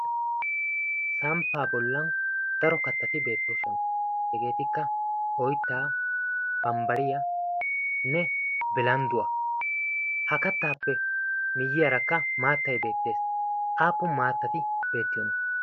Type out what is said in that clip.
samppaa bollan daro kattati beettoosona. hegeetikka oittaa bambbariyaanne bilandduwaa. ha kattaappe miyyiyaarakka maattai beettees aapun maattati beettiyoona?